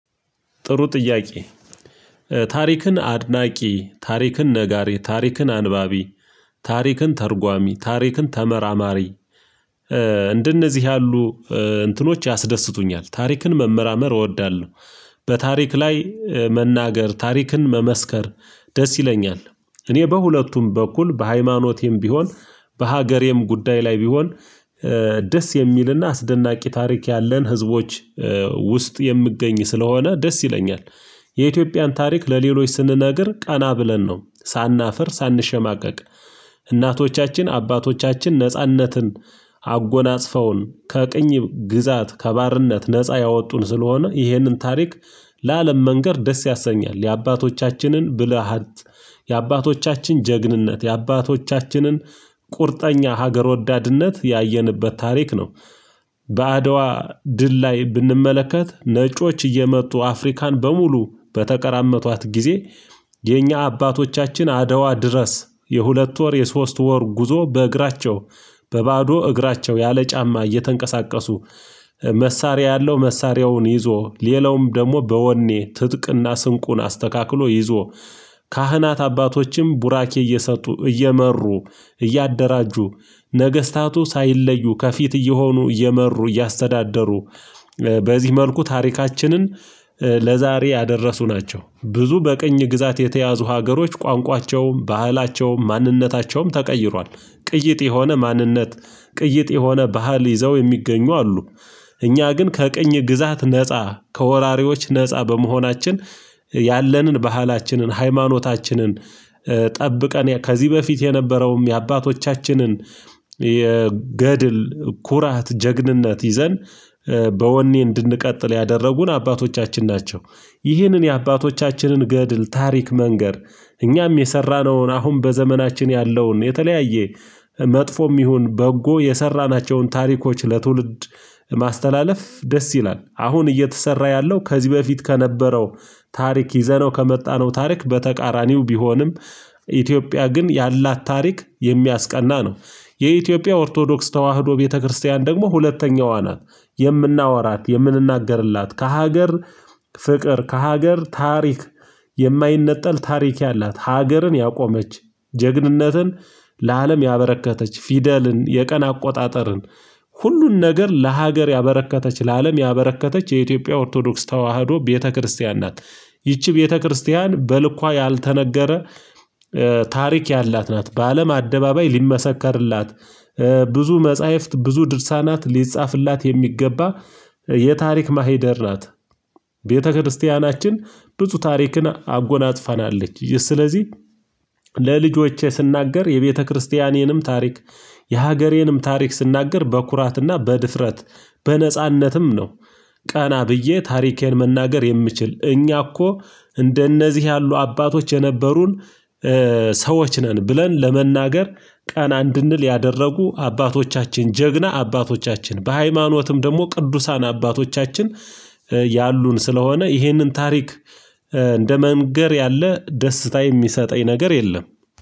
ጥሩ ጥያቄ? ታሪክን አድናቂ ታሪክን ነጋሪ ታሪክን አንባቢ ታሪክን ተርጓሚ ታሪክን ተመራማሪ እንደነዚህ ያሉ እንትኖች ያስደስቱኛል ታሪክን መመራመር እወዳለሁ። በታሪክ ላይ መናገር ታሪክን መመስከር ደስ ይለኛል እኔ በሁለቱም በኩል በሃይማኖቴም ቢሆን በሀገሬም ጉዳይ ላይ ቢሆን ደስ የሚልና አስደናቂ ታሪክ ያለን ህዝቦች ውስጥ የምገኝ ስለሆነ ደስ ይለኛል። የኢትዮጵያን ታሪክ ለሌሎች ስንነግር ቀና ብለን ነው ሳናፍር ሳንሸማቀቅ እናቶቻችን አባቶቻችን ነጻነትን አጎናጽፈውን ከቅኝ ግዛት ከባርነት ነፃ ያወጡን ስለሆነ ይህንን ታሪክ ለአለም መንገር ደስ ያሰኛል የአባቶቻችንን ብልሃት የአባቶቻችን ጀግንነት የአባቶቻችንን ቁርጠኛ ሀገር ወዳድነት ያየንበት ታሪክ ነው። በአድዋ ድል ላይ ብንመለከት ነጮች እየመጡ አፍሪካን በሙሉ በተቀራመቷት ጊዜ የኛ አባቶቻችን አደዋ ድረስ የሁለት ወር የሶስት ወር ጉዞ በእግራቸው በባዶ እግራቸው ያለ ጫማ እየተንቀሳቀሱ መሳሪያ ያለው መሳሪያውን ይዞ ሌላውም ደግሞ በወኔ ትጥቅና ስንቁን አስተካክሎ ይዞ ካህናት አባቶችም ቡራኬ እየሰጡ እየመሩ እያደራጁ ነገስታቱ ሳይለዩ ከፊት እየሆኑ እየመሩ እያስተዳደሩ በዚህ መልኩ ታሪካችንን ለዛሬ ያደረሱ ናቸው። ብዙ በቅኝ ግዛት የተያዙ ሀገሮች ቋንቋቸውም ባህላቸውም ማንነታቸውም ተቀይሯል ቅይጥ የሆነ ማንነት ቅይጥ የሆነ ባህል ይዘው የሚገኙ አሉ። እኛ ግን ከቅኝ ግዛት ነፃ ከወራሪዎች ነፃ በመሆናችን ያለንን ባህላችንን ሃይማኖታችንን ጠብቀን ከዚህ በፊት የነበረውም የአባቶቻችንን የገድል ኩራት ጀግንነት ይዘን በወኔ እንድንቀጥል ያደረጉን አባቶቻችን ናቸው። ይህንን የአባቶቻችንን ገድል ታሪክ መንገር እኛም የሰራነውን አሁን በዘመናችን ያለውን የተለያየ መጥፎም ይሁን በጎ የሰራናቸውን ታሪኮች ለትውልድ ማስተላለፍ ደስ ይላል አሁን እየተሰራ ያለው ከዚህ በፊት ከነበረው ታሪክ ይዘነው ከመጣነው ታሪክ በተቃራኒው ቢሆንም ኢትዮጵያ ግን ያላት ታሪክ የሚያስቀና ነው። የኢትዮጵያ ኦርቶዶክስ ተዋህዶ ቤተክርስቲያን ደግሞ ሁለተኛዋ ናት። የምናወራት የምንናገርላት ከሀገር ፍቅር ከሀገር ታሪክ የማይነጠል ታሪክ ያላት ሀገርን ያቆመች ጀግንነትን ለአለም ያበረከተች ፊደልን የቀን አቆጣጠርን ሁሉን ነገር ለሀገር ያበረከተች ለአለም ያበረከተች የኢትዮጵያ ኦርቶዶክስ ተዋህዶ ቤተክርስቲያን ናት። ይቺ ቤተክርስቲያን በልኳ ያልተነገረ ታሪክ ያላት ናት በአለም አደባባይ ሊመሰከርላት ብዙ መጽሐፍት ብዙ ድርሳናት ሊጻፍላት የሚገባ የታሪክ ማሂደር ናት። ቤተክርስቲያናችን ብፁዕ ታሪክን አጎናጽፋናለች። ይህ ስለዚህ ለልጆቼ ስናገር የቤተክርስቲያኔንም ታሪክ የሀገሬንም ታሪክ ስናገር በኩራትና በድፍረት በነጻነትም ነው። ቀና ብዬ ታሪኬን መናገር የምችል እኛ እኮ እንደነዚህ ያሉ አባቶች የነበሩን ሰዎች ነን ብለን ለመናገር ቀና እንድንል ያደረጉ አባቶቻችን ጀግና አባቶቻችን በሃይማኖትም ደግሞ ቅዱሳን አባቶቻችን ያሉን ስለሆነ ይህንን ታሪክ እንደ መንገር ያለ ደስታ የሚሰጠኝ ነገር የለም።